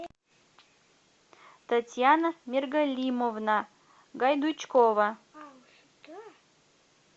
татьяна миргалимовна гайдучкова